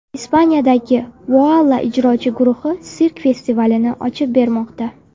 Ispaniyaning Voala ijrochi guruhi sirk festivalini ochib bermoqda.